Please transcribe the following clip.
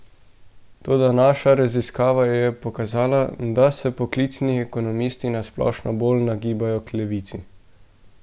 Toda naša raziskava je pokazala, da se poklicni ekonomisti na splošno bolj nagibajo k levici.